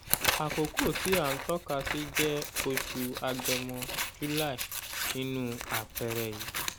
àkókò tí à ń tọ́kasí jẹ oṣù agẹmọ(july) nínu àpẹẹrẹ yìí